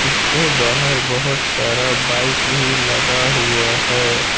इसके बाहर बहोत सारा बाइक भी लगा हुआ है।